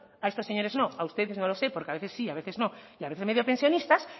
a estos señores no a ustedes no lo sé porque a veces sí y a veces no y a veces medio pensionistas